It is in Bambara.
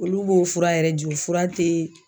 Olu b'o fura yɛrɛ ju fura te.